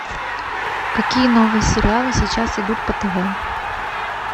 какие новые сериалы сейчас идут по тв